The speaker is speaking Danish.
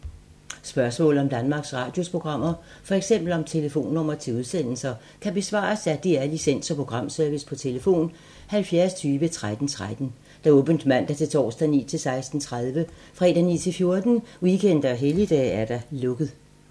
Spørgsmål om Danmarks Radios programmer, f.eks. om telefonnumre til udsendelser, kan besvares af DR Licens- og Programservice: tlf. 70 20 13 13, åbent mandag-torsdag 9.00-16.30, fredag 9.00-14.00, weekender og helligdage: lukket.